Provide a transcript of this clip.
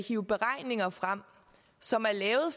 hive beregninger frem som er lavet